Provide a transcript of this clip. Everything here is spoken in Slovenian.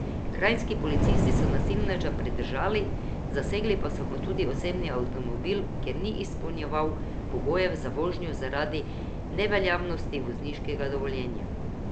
Kranjski policisti so nasilneža pridržali, zasegli pa so mu tudi osebni avtomobil, ker ni izpolnjeval pogojev za vožnjo zaradi neveljavnosti vozniškega dovoljenja.